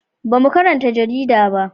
Ba mu karanta jarida ba